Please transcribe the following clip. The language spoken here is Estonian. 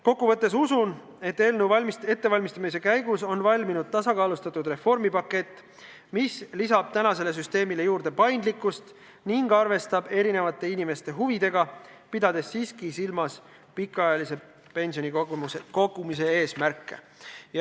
Kokkuvõttes usun, et eelnõu ettevalmistamise käigus on valminud tasakaalustatud reformipakett, mis lisab tänasele süsteemile paindlikkust ning arvestab erinevate inimeste huvidega, pidades siiski silmas ka pikaajalise pensionikogumise eesmärke.